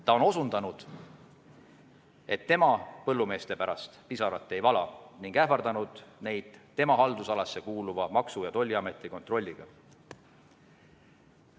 Ta on öelnud, et tema põllumeeste pärast pisaraid ei vala, ning ähvardanud neid tema haldusalasse kuuluva Maksu- ja Tolliameti kontrolliga.